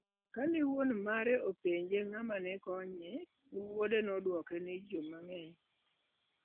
Kane wuon mare openjo ng'ama ne konyo, wuode nodwoke ni, "Ji mang'eny".